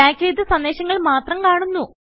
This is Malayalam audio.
ടാഗ് ചെയ്ത സന്ദേശങ്ങൾ മാത്രം കാണുന്നു